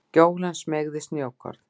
Gjólan smeygði snjókorn